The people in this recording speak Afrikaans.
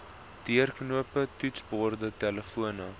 deurknoppe toetsborde telefone